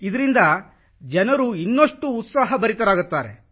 ಇದರಿಂದ ಜನರು ಇನ್ನಷ್ಟು ಉತ್ಸಾಹಭರಿತರಾಗುತ್ತಾರೆ